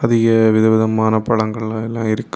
அதிய விதவிதமான பழங்கள் எல்லாம் இருக்கு.